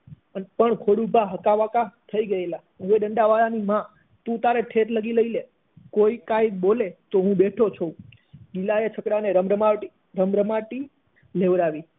પણ ખોડુભા હકા બકા થઇ ગયેલા હવે ડંડા વાળાની તું તારે ઠેઠ લગી લઇ લે કોઈ કઈ બોલે તો હું બેઠો છું ગિલા એ છકડા એ રમ રમાટી લેવડાવી